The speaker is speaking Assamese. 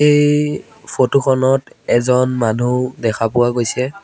এই ফটো খনত এজন মানুহ দেখা পোৱা গৈছে।